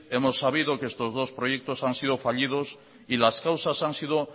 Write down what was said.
hemos sabido que estos dos proyectos han sido fallidos y las causas han sido